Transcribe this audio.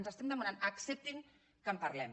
els estem demanant acceptin que en parlem